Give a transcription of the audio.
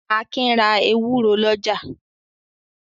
Akin ra ewúro lọ́jà.